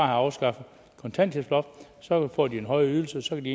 afskaffet kontanthjælpsloftet så får de en højere ydelse og så kan de